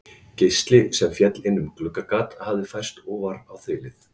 Geisli sem féll inn um gluggagat hafði færst ofar á þilið.